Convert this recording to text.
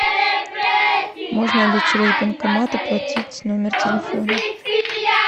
можно ли через банкомат оплатить номер телефона